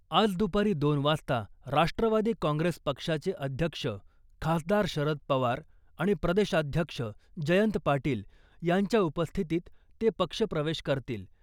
आज दुपारी दोन वाजता राष्ट्रवादी काँग्रेस पक्षाचे अध्यक्ष खासदार शरद पवार आणि प्रदेशाध्यक्ष जयंत पाटील यांच्या उपस्थितीत ते पक्षप्रवेश करतील .